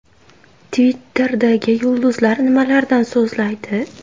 Twitter’dagi yulduzlar nimalardan so‘zlaydi?.